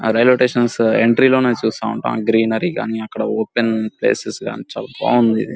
అ railway station entry లోనే చూస్తా ఉంటా గ్రీనరీ కానీ అక్కడ ఓపెన్ ప్లేసెస్ కానీ చాలా బాగుంది ఇది.